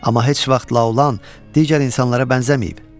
Amma heç vaxt Laolan digər insanlara bənzəməyib.